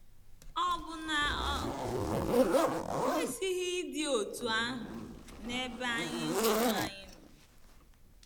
Ọ̀ bụ na o kwesịghị ịdị otú ahụ n’ebe anyị onwe anyị nọ?